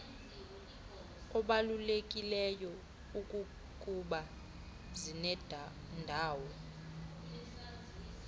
obalulekileyo ikukuba zinendawo